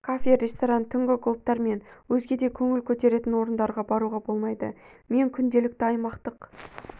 кафе ресторан түнгі клубтар мен өзге де көңіл көтеретін орындарға баруға болмайды мен күнделікті аймақтық